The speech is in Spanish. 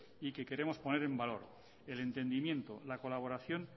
y que queremos poner en valor el entendimiento la colaboración